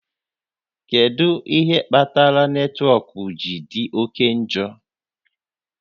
Kedu ihe kpatara netwọk ji dị oke njọ?